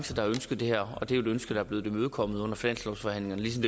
har ønsket det her og det er et ønske der er blevet imødekommet under finanslovsforhandlingerne ligesom